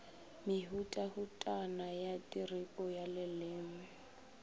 mehutahutana ya tiripo ya leleme